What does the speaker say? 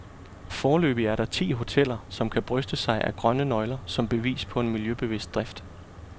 Foreløbig er der ti hoteller, som kan bryste sig af grønne nøgler som bevis på en miljøbevidst drift.